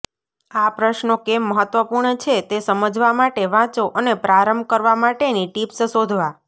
આ પ્રશ્નો કેમ મહત્વપૂર્ણ છે તે સમજવા માટે વાંચો અને પ્રારંભ કરવા માટેની ટિપ્સ શોધવા